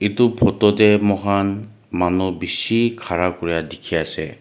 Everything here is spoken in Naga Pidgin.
etu photo teh ama khan manu bishi khera kori dekhi ase.